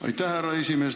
Aitäh, härra esimees!